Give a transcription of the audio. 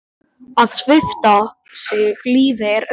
Að svipta sig lífi er auðvelt.